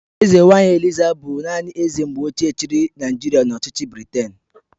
Eze nwaanyị Eliza bụ naanị eze mgbe ochie chịrị Naijiria n'ọchịchị Briten..